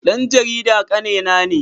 Dan jarida kannena ne.